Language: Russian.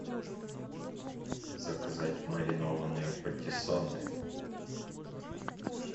заказать маринованные патиссоны